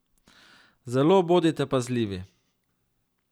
Zelo bodite pazljivi.